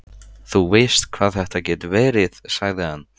Þú veist hvað þetta getur verið, sagði hann.